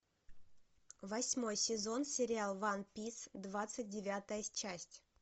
восьмой сезон сериал ван пис двадцать девятая часть